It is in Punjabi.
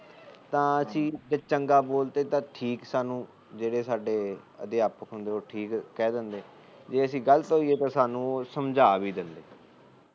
ਤਾ ਅਸੀ ਜੇ ਚੰਗਾ ਬੋਲ ਤਾ ਠੀਕ ਸਾਨੂੰ ਜਿਹੜੇ ਸਾਡੇ ਅਧਿਆਪਰ ਹੁੰਦਾ ਤਾ ਠੀਕ ਕਹਿ ਦਿੰਦੇ ਜੇ ਅਸੀ ਗਲਤ ਹੋਈਏ ਤਾ ਸਮਝਾ ਵੀ ਦਿੰਦੇ